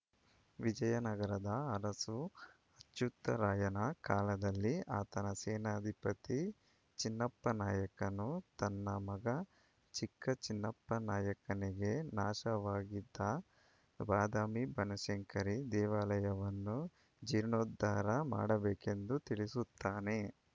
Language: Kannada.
ವಿಜಯನಗರದ ಅರಸು ಅಚ್ಯುತ್‌ರಾಯನ ಕಾಲದಲ್ಲಿ ಆತನ ಸೇನಾಧಿಪತಿ ಚಿನ್ನಪ್ಪನಾಯಕನು ತನ್ನ ಮಗ ಚಿಕ್ಕ ಚಿನ್ನಪ್ಪನಾಯಕನಿಗೆ ನಾಶವಾಗಿದ್ದ ಬಾದಾಮಿಬನಶಂಕರಿ ದೇವಾಲಯವನ್ನು ಜೀರ್ಣೋದ್ಧಾರ ಮಾಡಬೇಕೆಂದು ತಿಳಿಸುತ್ತಾನೆ